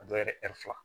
A dɔw yɛrɛ fila